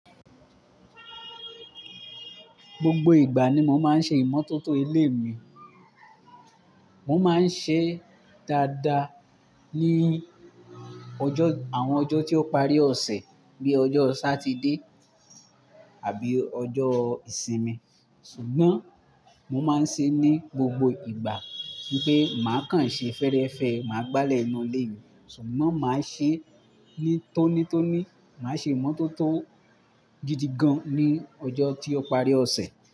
Gbogbo ìgbà ni mo máa ń ṣe ìmọ́tótó ilé mi. Mo máa ń ṣe dáadáa ní ọjọ́, àwọn ọjọ́ tí ó parí ọ̀sẹ̀ bíi ọjọ́ Sátidè àbí ọjọ́ ìsinmi. Sugbọn, mo máa ń ṣe ní gbogbo ìgbà. Ní pé màá kan ṣe fẹ́ẹ́rẹ́fẹ́, màá gbálẹ̀ inú ilé mi. Sùgbón máa ṣe ní tónítóní, máa ṣe ìmọ́tótó gidi gan ní ọjọ́ tí ó parí ọ̀sẹ̀.